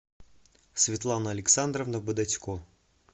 светлана александровна бодотько